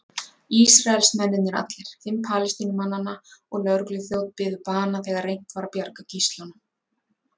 Ísraelsmennirnir allir, fimm Palestínumannanna og lögregluþjónn biðu bana þegar reynt var að bjarga gíslunum.